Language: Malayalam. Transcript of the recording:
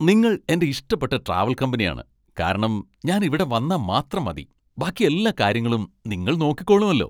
നിങ്ങൾ എന്റെ ഇഷ്ടപ്പെട്ട ട്രാവൽ കമ്പനിയാണ്, കാരണം ഞാൻ ഇവിടെ വന്നാ മാത്രം മതി. ബാക്കി എല്ലാ കാര്യങ്ങളും നിങ്ങൾ നോക്കിക്കോളുമല്ലോ.